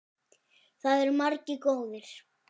Það eru margir góðir.